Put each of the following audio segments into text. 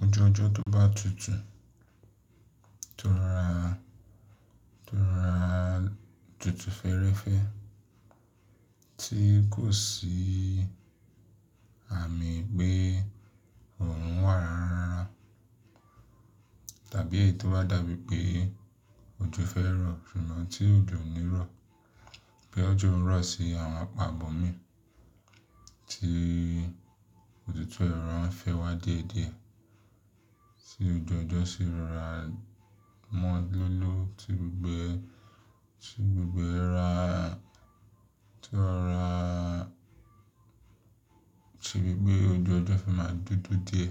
Ojoojo tó bá tutù, tó ra, tó ra tutù fẹ́rẹ́fẹ́ tí kò sí àmì pé òòrùn wà rara. Tàbí èyí tó bá dàbí pé ojo fẹ́ rọ̀, ṣùgbọ́n tí òjò ń rọ̀. Bí ojó ń rọ̀ sí àwọn àpò àbòmí, tí òtútù ẹ̀ rọra ń fẹ́ wá diẹ́ diẹ́, sí oju ọjọ́ sì ń ra mọ́ lóló, sí gbogbo, sí gbogbo ra tí ó ń ra, ṣe bí pé oju ojọ́ fẹ̀ máa dúdú dié.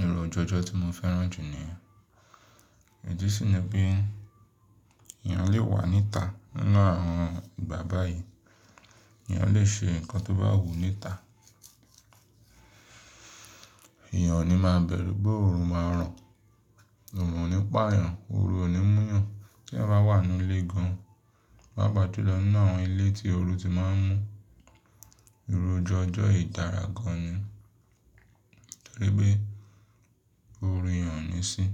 Ìru ojú ọjọ tí mo fẹ́ràn jù nìyẹn, ìdí sì ni pé èèyàn lè wà níta nínú àwọn ìgbà báyìí. Èèyàn lè ṣe nǹkan tó bá wù ú níta. Èèyàn ò ní máa bẹ̀rù bóòrùn máa ràn. Òòrùn ò ní pààyàn, òòrù ò ní múyàn. Tí èèyàn bá wà nínú ilé gan, pàápàá jùlọ nínú àwọn ilé tí òòrù ti máa ń mú, ìru ojú ọjọ́ yìí dara gan ni. Nítorí pé òòrù yẹ̀n ò ní sí.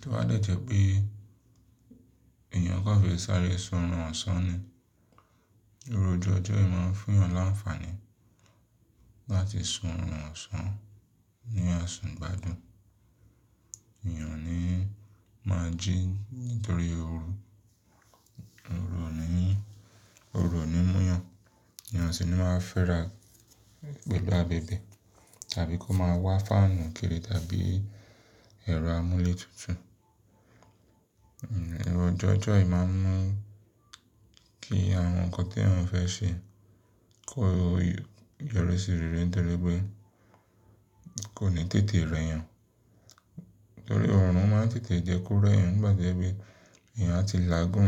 To bá dẹ̀jẹ̀ pé èèyàn kàn fẹ́ sàáre sún ọ̀run ọ̀sán ni. Ìru ojú ọjọ́ yìí máa ń fún èèyàn láǹfààní láti sún ọ̀run ọ̀sán ní asun ìgbádùn. Èèyàn oni máa jí nítorí òòrù. Òòrù ò ní, òòrù ò ní múyàn. Èèyàn sì ni máa fẹ́ ra gbogbo abẹ̀bẹ̀, tàbí kó máa wá fáànù kiri tàbí ẹ̀rọ amúlé tutù. Hmm, ìru joojo yìí máa ń mú kí àwọn ǹkan tí èèyàn ò fẹ́ ṣe kó yọrí sí rẹ̀ rẹ̀ nítorí pé kò ní tètè rẹ́ èèyàn. Nítorí òòrùn máa ń tètè jẹ kó èèyàn nígbà tó jẹ wípé èèyàn àti làágùn,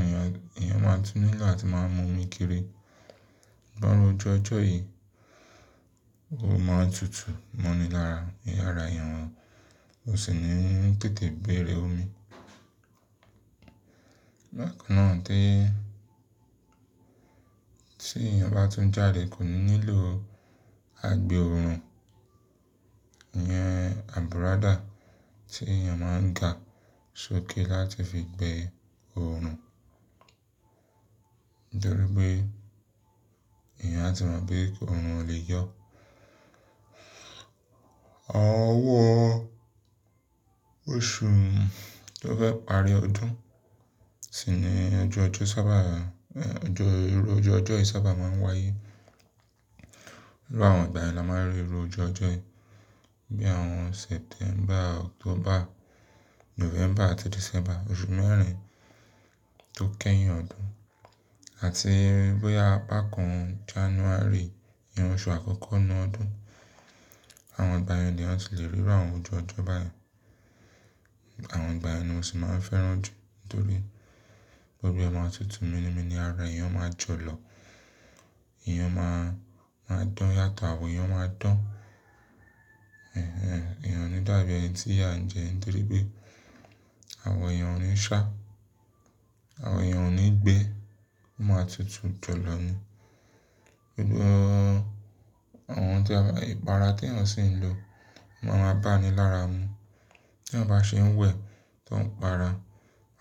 èèyàn máa tú nílo ati máa mú omi kiri. Bá irú ojú ọjọ́ yìí, ó máa ń tutù mọ́ni lára yàrá irun. Ó sì ni ó ń tètè béèrè omi. Bákan náà tí, tí èèyàn bá tún jáde kò nílò àgbẹ̀ òòrùn. Ìyẹn àbùrádà tí èèyàn máa ń ga sókè láti fi gbé òòrùn. Nítorí pé èèyàn á ti mọ̀ pé òòrùn ò lè yọ. Ọwọ́ oṣù tó fẹ́ parí ọdún sì ni ọju ọjọ́ sábà, ẹ̀, ọjọ́ ìru ojú ọjọ́ yìí sábà máa ń wáyé. Nínú àwọn ìgbà yìí la máa ń rí irú ojú ọjọ́ yìí. Bí i àwọn September, October, November àti December. Oṣù mẹ́rin tó kẹ́yìn ọdún. Àti bóyá apá kàn January, ìyẹn oṣù àkọ́kọ́ nínú ọdún. Àwọn ìgbà yẹn ni èèyàn tì lè rí àwọn ojú ojọ́ báyìí. Àwọn ìgbà yẹ̀n ni mo sì máa ń fẹ́ràn jù nítorí gbogbo ẹ̀ máa tutù mínimini ara èèyàn máa jọ lọ. Èèyàn máa, máa dán yàtọ̀, àwọ èèyàn máa dán. Èèhè, èèyàn ò ní dàbí ẹni tí ìyá ń jẹ nítorí pé àwọn èèyàn ńi ṣá, àwọn èèyàn ò ní gbé. Wọ́n máa tutù jọ̀lọ̀ ni. Gbogbo àwọn tí a bá, ìpara tí èèyàn sì ń lo máa ń bá ni lára mu. Tí èèyàn bá ṣe ń wẹ̀ tó ń para,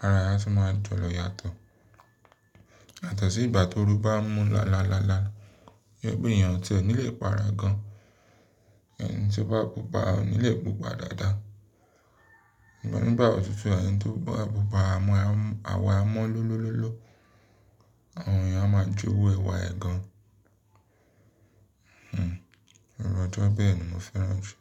ara èèyàn sì máa ń jọ̀lọ̀ yàtọ̀. Yatọ sí ìgbà tó òru bá ń mú lalalala, bí i pé èèyàn tí kò ní lè para gan, ẹni tí ó bá púpa ò ní lè púpa dáadáa. Ǹigbá òtútù, ẹni tó pá púpa, àwọ amọ́ lólólóló, àwọn èèyàn á máa jó wu ẹwá ẹ̀ gan. Hmm, ìròjoojo bẹ́ẹ̀ ni mo fẹ́ràn jù.